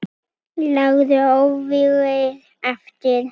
Lágu óvígir eftir.